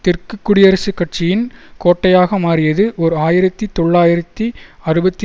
தெற்கு குடியரசுக் கட்சியின் கோட்டையாக மாறியது ஓர் ஆயிரத்தி தொள்ளாயிரத்தி அறுபத்தி